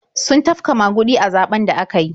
Sun tafka maguɗi a zaɓen da aka yi.